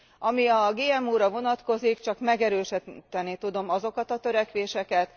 Ami a GMO ra vonatkozik, csak megerősíteni tudom azokat a törekvéseket.